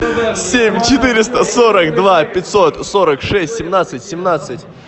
семь четыреста сорок два пятьсот сорок шесть семнадцать семнадцать